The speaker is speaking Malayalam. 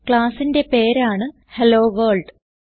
classന്റെ പേരാണ് ഹെല്ലോവർൾഡ്